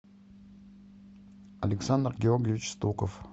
александр георгиевич стуков